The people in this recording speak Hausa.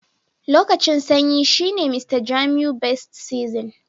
Lokacin sanyi shine Mr jamiu best season.